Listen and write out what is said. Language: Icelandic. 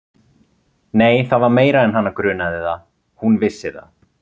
Nei, það var meira en hana grunaði það: hún vissi það.